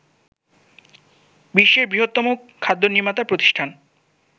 বিশ্বের বৃহত্তম খাদ্য নির্মাতা প্রতিষ্ঠান